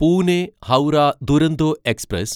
Pune Howrah Duronto express